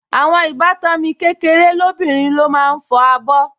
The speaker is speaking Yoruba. Àwọn ìbátan mi kékeré lóbìnrin ló máa ń fọ abọ́